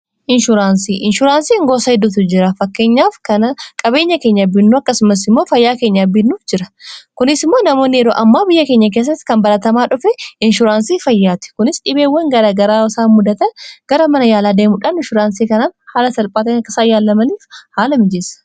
inshuuraansii inshuuraansii hingoosa hidduutu jira fakkeenyaaf kana qabeenya keenya abbiinnuu akkasumas immoo fayyaa keenya abbiinnuuf jira kunis immoo namoonni yeroo amma biyya keenya keessatti kan baratamaa dhufe inshuuraansii fayyaati kunis dhibeewwan gara-garaasaa mudata gara mana yaalaa deemudhaan inshuuraansii kanaan haala salphaata akkasaa yaallamaniif haala mijeessa